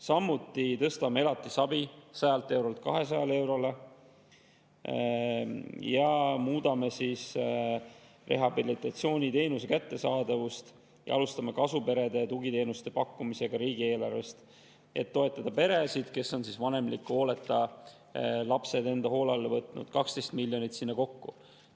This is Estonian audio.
Samuti tõstame elatisabi 100 eurolt 200 eurole, muudame rehabilitatsiooniteenuse kättesaadavust ja alustame kasuperedele riigieelarvest tugiteenuste pakkumist, et toetada peresid, kes on vanemliku hooleta lapsed enda hoole alla võtnud – sinna kokku 12 miljonit.